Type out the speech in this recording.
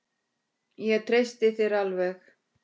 Ég treysti þér alveg.